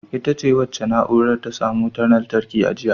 Ita ce wacce na’urar ta samu wutar lantarki a jiya.